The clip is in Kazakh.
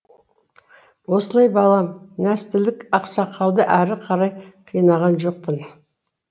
осылай балам нәстілік ақсақалды ары қарай қинаған жоқпын